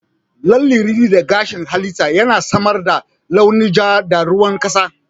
Lalle ana rini na gashin halitta, yana samar da launin ja da ruwan kasa.